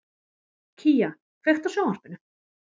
Kía, kveiktu á sjónvarpinu.